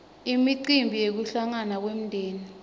imicimbi yekuhlangana kwemdzeni